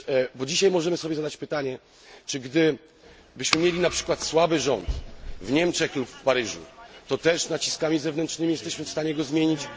Bo dzisiaj możemy sobie zadać pytanie, czy gdybyśmy mieli na przykład słaby rząd w Niemczech lub w Paryżu, to też naciskami zewnętrznymi bylibyśmy w stanie go zmienić?